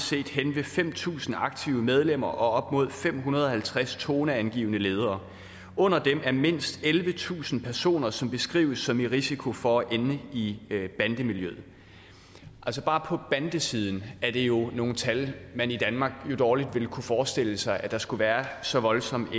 hen ved fem tusind aktive medlemmer og op mod fem hundrede og halvtreds toneangivende ledere under dem er mindst ellevetusind personer som beskrives som i risiko for at ende i bandemiljøerne bare på bandesiden er der jo nogle tal man i danmark dårligt ville kunne forestille sig altså at der skulle være så voldsom